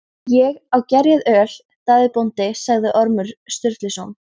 Ég á gerjað öl, Daði bóndi, sagði Ormur Sturluson.